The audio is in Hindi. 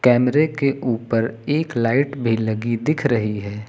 कैमरे के ऊपर एक लाइट भी लगी दिख रही है।